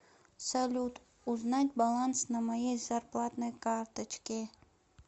салют узнать баланс на моей зарплатной карточке